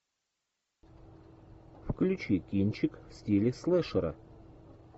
включи кинчик в стиле слэшера